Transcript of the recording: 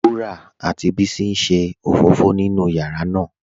Wurà àti Bísí n ṣé ofófò nínú yàrá ná